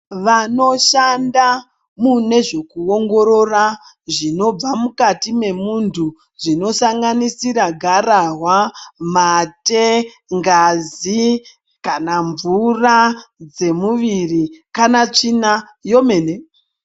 Vanoshanda munezvekuongorora zvinobva mukati memuntu zvinosanganisira garahwa, mate, ngazi, kana mvura dzemuviri kana tsvina yomene.